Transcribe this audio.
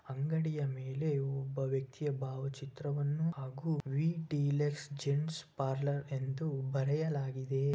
ಅಂಗಡಿಯ ಮೇಲೆ ಒಬ್ಬ ವ್ಯಕ್ತಿಯ ಭಾವಚಿತ್ರವನ್ನು ಹಾಗು ವಿಟಿಲಸ್ ಜೆಂಟ್ಸ್ ಪಾರ್ಲರ್ ಎಂದು ಬರೆಯಲಾಗಿದೆ.